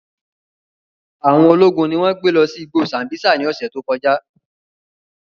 Awọn ologun ni wọn gbe lọ si igbo Sambisa ni ọsẹ to kọja.